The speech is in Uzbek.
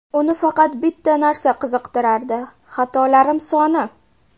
Uni faqat bitta narsa qiziqtirardi – xatolarim soni.